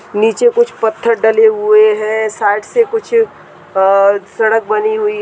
नीचे कुछ पत्थर डले हुए है साइड से कुछ सड़क बनी हुई --